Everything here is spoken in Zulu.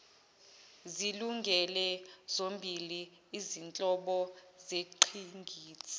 zilungele zombili izinhlobozengqikithi